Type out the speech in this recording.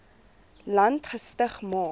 land gestig maar